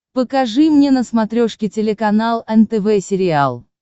покажи мне на смотрешке телеканал нтв сериал